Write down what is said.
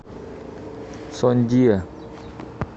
сондиа